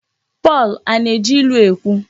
Pọl Ana-eji ilu ekwu?